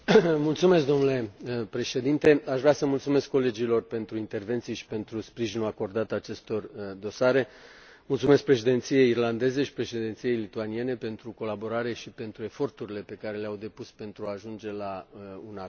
Domnule președinte, aș vrea să mulțumesc colegilor pentru intervenții și pentru sprijinul acordat acestor dosare, mulțumesc Președinției irlandeze și Președinției lituaniene pentru colaborare și pentru eforturile pe care le au depus pentru a ajunge la un acord.